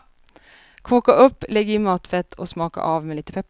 Koka upp, lägg i matfett och smaka av med lite peppar.